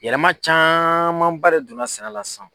Yɛlɛma camanba de donna sɛnɛ la sisan